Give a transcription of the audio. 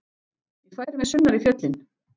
Ég færi mig sunnar í fjöllin.